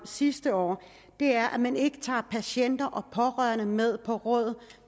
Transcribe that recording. sidste år er at man ikke tager patienter og pårørende med på råd